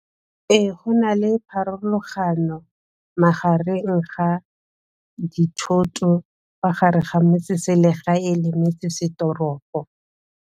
Go na le pharologano magareng ga dithoto fa gare ga metseselegae e lemetsesetoropo.